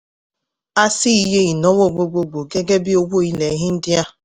a ṣí iye ìnáwó gbogboogbò gẹ́gẹ́ bí owó ilẹ̀ india.